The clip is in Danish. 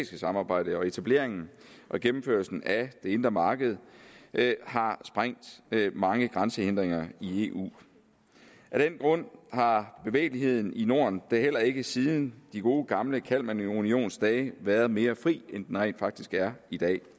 samarbejde og etableringen og gennemførelsen af det indre marked har sprængt mange grænsehindringer i eu af den grund har bevægeligheden i norden da heller ikke siden de gode gamle kalmarunionsdage været mere fri end den rent faktisk er i dag